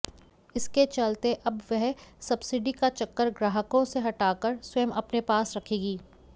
इसके चलते अब वह सब्सिडी का चक्कर ग्राहकों से हटाकर स्वयं अपने पास रखेगी